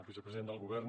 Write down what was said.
vicepresident del govern